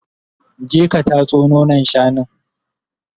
je ka tatso nonon shanun!